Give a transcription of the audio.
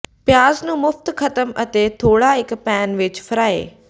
ਪਿਆਜ਼ ਨੂੰ ਮੁਫ਼ਤ ਖਤਮ ਅਤੇ ਥੋੜਾ ਇੱਕ ਪੈਨ ਵਿੱਚ ਫਰਾਈ